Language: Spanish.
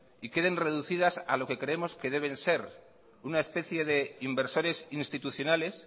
y queden reducidas a lo que creemos que deben ser una especie de inversores institucionales